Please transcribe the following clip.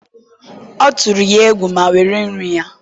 ọ tụrụ ya egwu ma were nri ya.